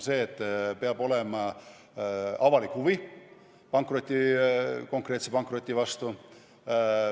Esiteks on see, et peab olema avalik huvi konkreetse pankroti vastu.